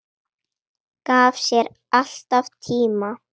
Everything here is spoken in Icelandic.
Gaf sér alltaf tíma.